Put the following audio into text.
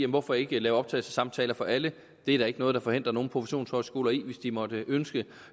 hvorfor ikke lave optagelsessamtaler for alle det er der ikke noget der forhindrer nogen professionshøjskoler i hvis de måtte ønske